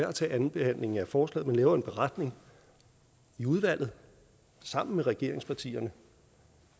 at tage andenbehandlingen af forslaget laver en beretning i udvalget sammen med regeringspartierne